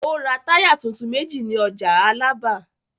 Ó ra táyà tuntun méjì ní ọjà Alábà.